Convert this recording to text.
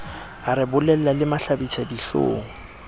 a re bolella le mahlabisadihlong